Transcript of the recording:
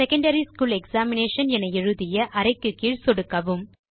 secondary school examination என எழுதிய அறைக்கு கீழ் சொடுக்கவும்